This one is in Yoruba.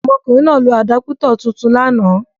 Ọmọkùnrin náà lo àdápútọ̀ tuntun lánàá.